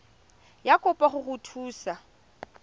ya kopo go go thusa